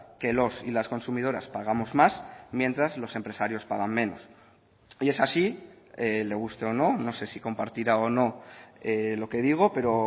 que los y las consumidoras pagamos más mientras los empresarios pagan menos y es así le guste o no no sé si compartirá o no lo que digo pero